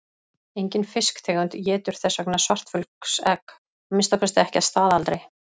Engin fisktegund étur þess vegna svartfuglsegg, að minnsta kosti ekki að staðaldri.